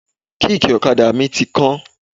Kíìkì ọ̀kadà mi ti kán.